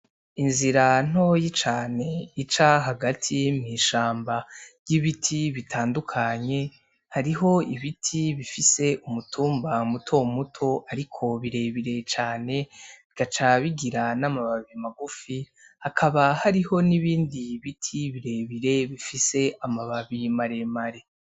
Inzira ntoyi cane ica hagati mw'ishamba ry'ibiti bitandukanye, hariho ibiti bifise umutumba mutomuto ariko birebire cane, bigaca bigira n'amababi mamagufi, hakaba hariho n'ibindi biti birebire bifise amababi maremare.